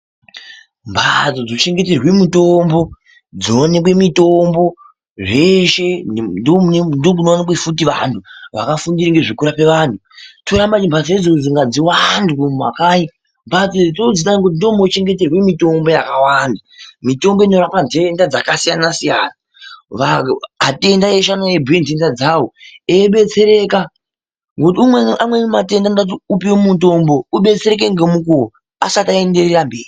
Mbatso dzochengeterwe mitombo, dzoonekwe mitombo zveshe ndomunowanikwa futi vantu vakafundire zvekurapa vantu toda maningi mbatso idzodzo ngadziwande mumakai mbatso idzodzo dzakanaka ngekuti ndomunochengeterwe mitombo yakawanda, mitombo inorapa ntenda dzakasiyana siyana atenda eshe anouya eibhuye ntenda dzawo eidetsereka ngokuti amweni matenda anoda upuwe mutombo ubetsereke ngemukuwo asati aenderera mberi.